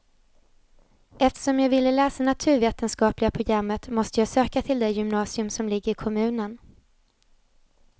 Eftersom jag ville läsa naturvetenskapliga programmet måste jag söka till det gymnasium som ligger i kommunen.